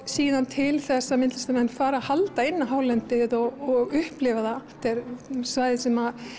síðan til þess að myndlistarmenn fara að halda inn á hálendið og upplifa það þetta eru svæði sem